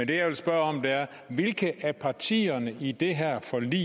det jeg vil spørge om er hvilke af partierne i det her forlig